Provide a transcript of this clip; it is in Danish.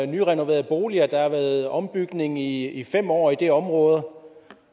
nyrenoverede boliger der har været ombygning i i fem år i det område